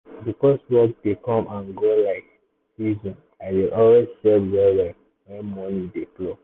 because work dey come and go like season i dey always save well-well when money dey flow.